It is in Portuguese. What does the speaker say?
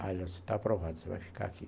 Você está aprovado, você vai ficar aqui.